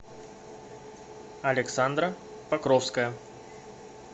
александра покровская